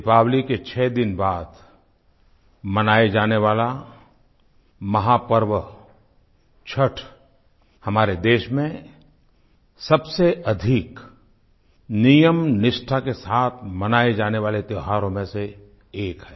दीपावली के छह दिन बाद मनाए जाने वाला महापर्व छठ हमारे देश में सबसे अधिक नियम निष्ठा के साथ मनाए जाने वाले त्योहारों में से एक है